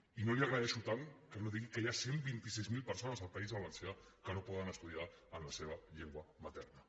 i no li agraeixo tant que no digui que hi ha cent i vint sis mil persones al país valencià que no poden estudiar en la seva llengua materna